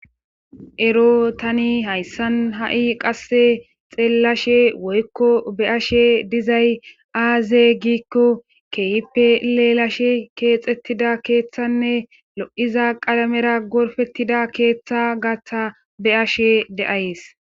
ero tani hayssan ha7i qasse xeellashe woykko be ashe dizay aaze giikko keehipe lelashe keexettida keeththanne lo7iza qalamera gorfettida keeththa gatha be ashe de7ays